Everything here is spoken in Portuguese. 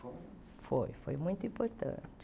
Foi, foi muito importante.